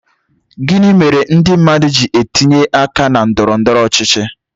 Gịnị mere ndị mmadụ ji etinye aka na ndọrọ ndọrọ ọchịchị